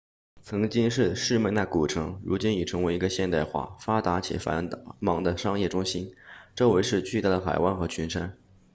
曾经是士麦那 smyrna 古城如今已成为一个现代化发达且繁忙的商业中心周围是巨大的海湾和群山